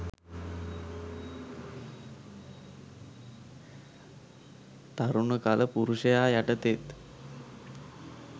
තරුණ කළ පුරුෂයා යටතේත්